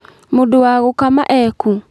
Mũndũ wa gũkama ekũ?